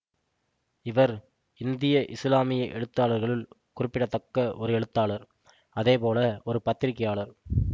இவர் இந்தியா இசுலாமிய எழுத்தாளர்களுள் குறிப்பிடத்தக்க ஒரு எழுத்தாளர் அதேபோல ஒரு பத்திரிகையாளர்